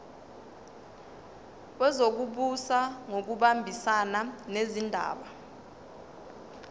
wezokubusa ngokubambisana nezindaba